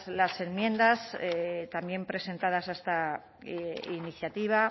las enmiendas también presentadas hasta iniciativa